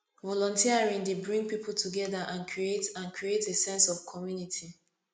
volunteering dey bring people together and create and create a sense of community